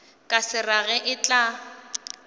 ka se rage e tla